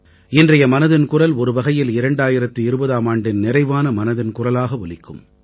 இன்றைய மனதின் குரல் ஒருவகையில் 2020ஆம் ஆண்டின் நிறைவான மனதின் குரலாக ஒலிக்கும்